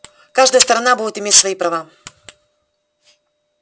каждая сторона будет иметь свои права